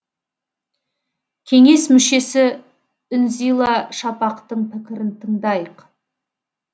кеңес мүшесі үнзила шапақтың пікірін тыңдайық